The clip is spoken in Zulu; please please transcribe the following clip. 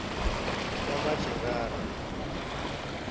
yamajerari